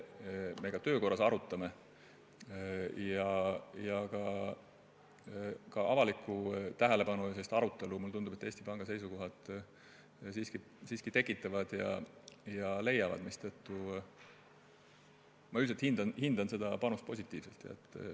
Mulle tundub, et ka avalikku tähelepanu Eesti Panga seisukohad siiski leiavad ja arutelu tekitavad, mistõttu üldiselt hindan ma seda panust positiivselt.